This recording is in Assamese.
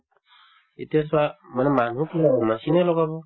এতিয়া চোৱা মানে মানুহ machine য়ে লগাব